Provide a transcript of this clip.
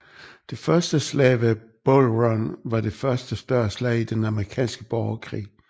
Det første slag ved Bull Run var det første større slag i den amerikanske borgerkrig